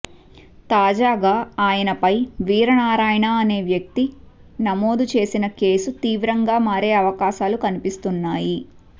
తాజాగా ఆయనపై వీరనారాయణ అనే వ్యక్తి నమోదు చేసిన కేసు తీవ్రంగా మారే అవకాశాలు కనిపిస్తున్నాయి